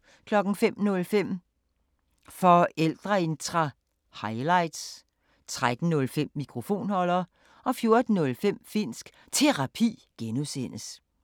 05:05: Forældreintra – highlights 13:05: Mikrofonholder 14:05: Finnsk Terapi (G)